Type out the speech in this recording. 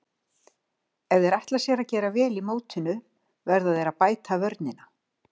Ef þeir ætla sér að gera vel í mótinu verða þeir að bæta vörnina.